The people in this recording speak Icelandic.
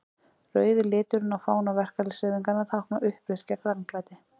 Rauði liturinn á fána verkalýðshreyfingarinnar táknar uppreisn gegn ranglæti.